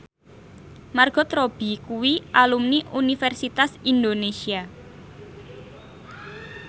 Margot Robbie kuwi alumni Universitas Indonesia